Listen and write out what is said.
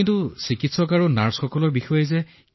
কিন্তু তাত চিকিৎসক আৰু নাৰ্ছ আছিল যে